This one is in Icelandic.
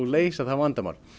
leysa það vandamál